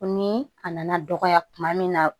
Ni a nana dɔgɔya kuma min na